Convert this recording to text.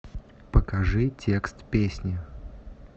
покажи текст песни